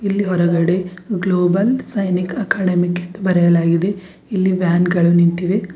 ಇಲ್ಲಿ ಹೊರಗಡೆ global Sainik academic ಎಂದು ಬರೆಯಲಾಗಿದೆ ಇಲ್ಲಿ ವ್ಯಾನ್ ಗಳು ನಿಂತಿವೆ.